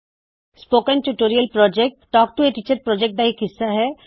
spoken tutorial project talk to a teacher project ਦਾ ਇਕ ਹਿੱਸਾ ਹੈ